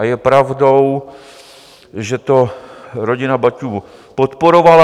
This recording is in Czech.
A je pravdou, že to rodina Baťů podporovala.